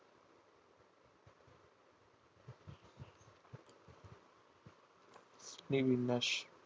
বিবিন মাস